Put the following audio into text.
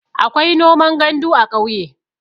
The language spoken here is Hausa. akwai noman gandu a ƙauye